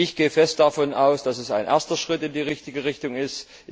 Ich gehe fest davon aus, dass dies ein erster Schritt in die richtige Richtung ist.